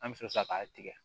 An bɛ sɔrɔ ka tigɛ